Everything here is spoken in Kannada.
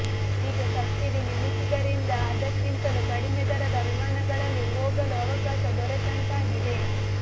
ಈಗ ಸಬ್ಸಿಡಿ ನಿಲ್ಲಿಸಿದ್ದರಿಂದ ಅದಕ್ಕಿಂತಲೂ ಕಡಿಮೆ ದರದ ವಿಮಾನಗಳಲ್ಲಿ ಹೋಗಲು ಅವಕಾಶ ದೊರೆತಂತಾಗಿದೆ